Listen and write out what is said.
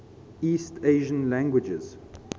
east asian languages